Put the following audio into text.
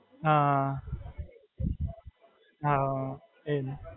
હાં, એ જ.